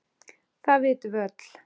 Það vitum við öll.